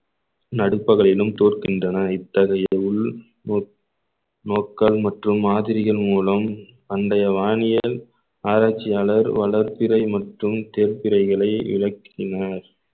நடுப்பகலிலும் தோற்கின்றன இத்தகைய உள் நோ~ நோக்கால் மற்றும் மாதிரிகள் மூலம் பண்டைய வானியல் ஆராய்ச்சியாளர் வளர்பிறை மற்றும் தெர்பிறைகளை விளக்கினர்